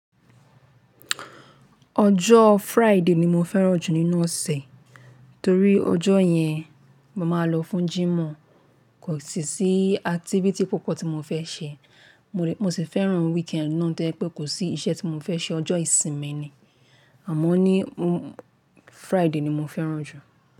Ọjọ́ Friday ni mo fẹ́ràn jù nínú ọ̀sẹ̀, torí ọjọ́ yẹn mo máa ń lọ fún jimo, kò sì sí activity púpọ̀ tí mo fẹ́ ṣe. Mo, le, Mo sì fẹ́ràn weekend náà tó yẹ́ pé kò sí iṣẹ́ tí mo fẹ́ ṣe, ọjọ́ ìsinmi ni, àmọ́ ní, mo, Friday ni mo fẹ́ràn jù.